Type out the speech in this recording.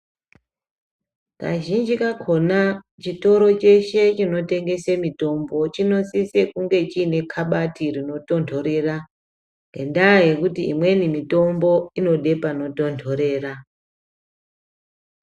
Kazhinji kakona chitoro cheshe chinotengese mitombo, chinosise kunge chiine kabati rinotondorera, ngendaa yekuti imweni mitombo, inode panotondorera.